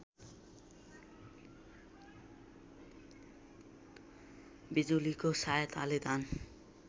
बिजुलीको सहायताले धान